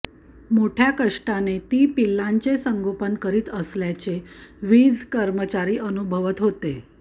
मोठ्या कष्टाने ती पिल्लांचे संगोपन करीत असल्याचे वीज कर्मचारी अनुभवत होते